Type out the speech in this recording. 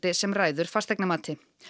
sem ræður fasteignamati